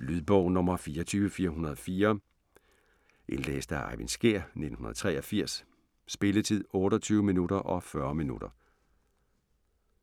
Lydbog 24404 Indlæst af Eyvind Skjær, 1983. Spilletid: 28 timer, 40 minutter.